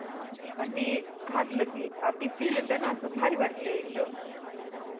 पण ते घातल की ते फिल येतणा अस भारी वाटतय एकदम